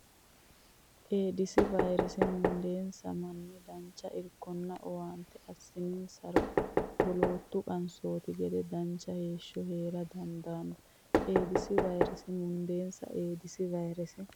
Eedisi vayrese mundeensa manni dancha irkonna owaante assininsaro wolootu qansootinte gede dancha heeshsho hee dandaanno Eedisi vayrese mundeensa Eedisi vayrese.